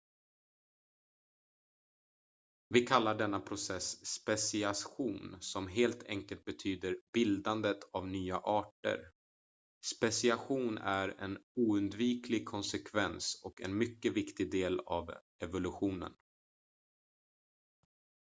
vi kallar denna process speciation som helt enkelt betyder bildandet av nya arter speciation är en oundviklig konsekvens och en mycket viktig del av evolutionen